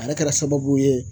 A yɛrɛ kɛra sababu ye